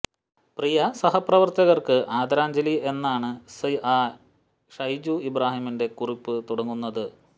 പ്രിയ സഹപ്രവര്ത്തകക്ക് ആദരാഞ്ജലി എന്നാണ് സ്ഐ ഷൈജു ഇബ്രാഹിമിന്റെ കുറിപ്പ് തുടങ്ങുന്നത്